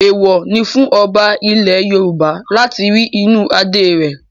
Èèwọ̀ ni fún ọba ilẹ̀ Yorùbá láti rí inú Adé rẹ̀.